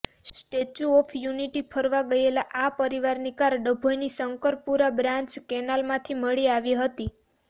statue of unity ફરવા ગયેલા આ પરિવારની કાર ડભોઈની શંકરપુરા બ્રાન્ચ કેનાલમાંથી મળી આવી હતી